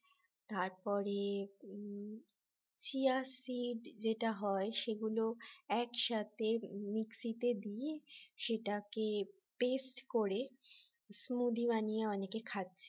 তারপরে seed যেটা হয় সেগুলো একসাথে mixie তে দিয়ে সেটাকে paste করে স্মুদি বানিয়ে অনেকে খাচ্ছে